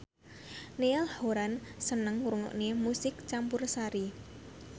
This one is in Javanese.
Niall Horran seneng ngrungokne musik campursari